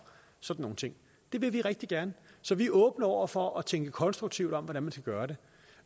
sådan nogle ting det vil vi rigtig gerne så vi er åbne over for at tænke konstruktivt om hvordan man skal gøre det